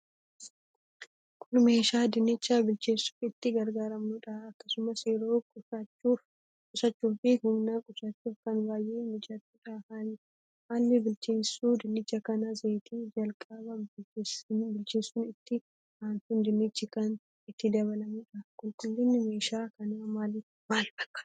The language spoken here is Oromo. Kun meeshaa dinnicha bilcheessuuf itti gargaaramnudha. Akkasumas yeroo quusachuu fi humna qusachuuf kan baay'ee mijatudha. Haalli bilcheessu dinnicha kana zayitii jalqaba bilcheessuun itti ansuun dinnichi kan itti dabalamudha. Qulqullinni meeshaa kana maal fakkaata?